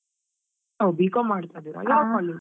ಹೋ B.com , ಯಾವ್ college .